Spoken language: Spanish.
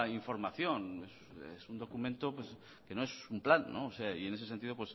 información es un documento que no es un plan y en ese sentido